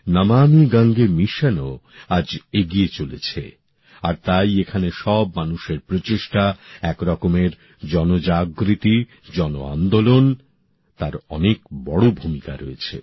নমামি গঙ্গে মিশনও আজ এগিয়ে চলেছে আর তাই এখানে সব মানুষের প্রচেষ্টা এক রকমের জনজাগরণ জনআন্দোলন তার অনেক বড় ভূমিকা রয়েছে